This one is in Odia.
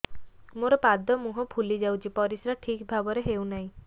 ମୋର ପାଦ ମୁହଁ ଫୁଲି ଯାଉଛି ପରିସ୍ରା ଠିକ୍ ଭାବରେ ହେଉନାହିଁ